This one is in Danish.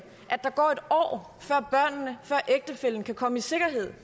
at der går en år før børnene før ægtefællen kan komme i sikkerhed